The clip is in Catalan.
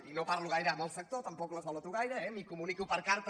i no parlo gaire amb el sector tampoc l’esvaloto gaire eh m’hi comunico per carta